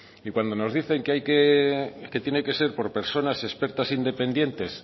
y cuando nos dicen que tiene que ser por personas expertas e independientes